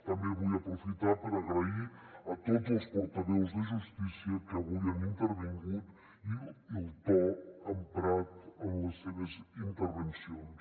també vull aprofitar per agrair a tots els portaveus de justícia que avui han intervingut el to emprat en les seves intervencions